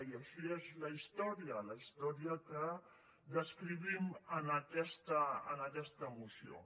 i així és la història la història que descrivim en aquesta moció